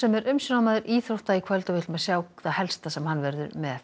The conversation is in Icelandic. er umsjónarmaður íþrótta í kvöld við skulum sjá það helsta sem hann verður með